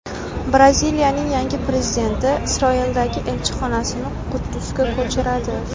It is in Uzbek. Braziliyaning yangi prezidenti Isroildagi elchixonasini Quddusga ko‘chiradi.